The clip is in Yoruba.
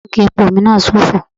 Táǹkì epo mi náà sófo.